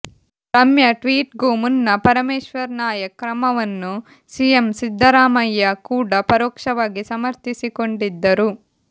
Ramya tweet ಗೂ ಮುನ್ನ ಪರಮೇಶ್ವರ್ ನಾಯಕ್ ಕ್ರಮವನ್ನು ಸಿಎಂ ಸಿದ್ದರಾಮಯ್ಯ ಕೂಡಾ ಪರೋಕ್ಷವಾಗಿ ಸಮರ್ಥಿಸಿಕೊಂಡಿದ್ದರು